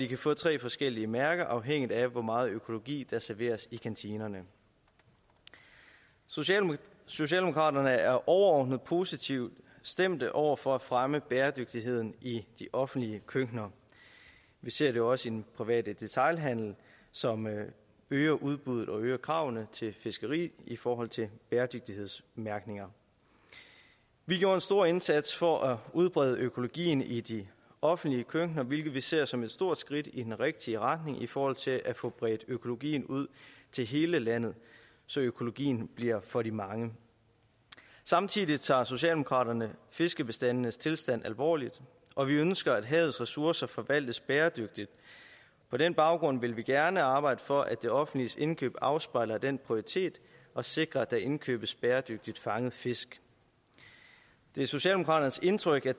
kan få tre forskellige mærker afhængigt af hvor meget økologi der serveres i kantinen socialdemokraterne socialdemokraterne er overordnet positivt stemt over for at fremme bæredygtigheden i de offentlige køkkener vi ser det også i den private detailhandel som øger udbuddet og øger kravene til fiskeri i forhold til bæredygtighedsmærkninger vi gjorde en stor indsats for at udbrede økologien i de offentlige køkkener hvilket vi ser som et stort skridt i den rigtige retning i forhold til at få bredt økologien ud til hele landet så økologien bliver for de mange samtidig tager socialdemokraterne fiskebestandenes tilstand alvorligt og vi ønsker at havets ressourcer forvaltes bæredygtigt på den baggrund vil vi gerne arbejde for at det offentliges indkøb afspejler den prioritet og sikrer at der indkøbes bæredygtigt fanget fisk det er socialdemokraternes indtryk at